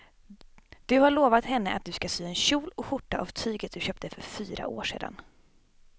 Du har lovat henne att du ska sy en kjol och skjorta av tyget du köpte för fyra år sedan.